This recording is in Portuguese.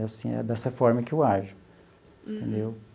É assim, é dessa forma que eu ajo, entendeu?